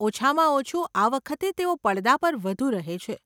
ઓછામાં ઓછું આ વખતે તેઓ પડદા પર વધુ રહે છે.